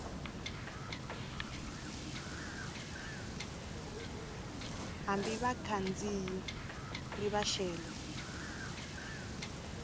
hambi vakhandziyi ri va xele